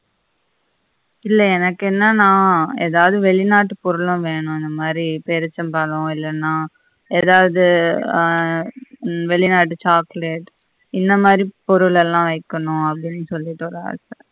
இல்ல எனக்கு என்னானா எதாவது வெளிநாட்டு பொருழும் வெணும் இந்த மாதி பேரிச்சம் பழம் இல்லன்னா எதாவது எர் வெளிநாட்டு chocolate இந்த மாதி பொருளெல்லாம் வெக்கணும் அப்படின்னு சொல்லிட்டு ஒரு ஆச